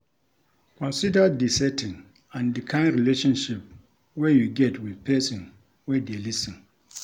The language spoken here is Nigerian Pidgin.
Consider di setting and di kind relationship wey you get with person wey dey lis ten